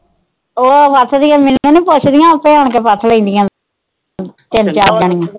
ਉਹ ਦੀਆ ਮੈਨੂੰ ਨੀ ਪੁੱਛ ਦੀਆਂ ਆਪੇ ਆਣ ਕੇ ਪਥ ਲੈਂਦੀਆਂ ਤਿੰਨ ਚਾਰ ਜਣੀਆਂ।